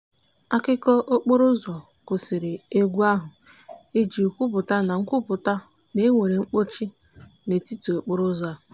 akụkọ okporo ụzọ kwụsịrị egwu ahụ i ji kwupụta na kwupụta na e nwere mkpọchị n'etiti okporo ụzọ.